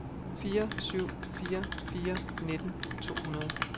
fire syv fire fire nitten to hundrede